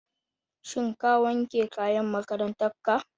Shin ka wanke kayan makarantar ka?